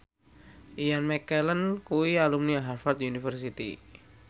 Ian McKellen kuwi alumni Harvard university